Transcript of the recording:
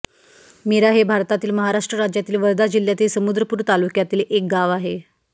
मिरा हे भारतातील महाराष्ट्र राज्यातील वर्धा जिल्ह्यातील समुद्रपूर तालुक्यातील एक गाव आहे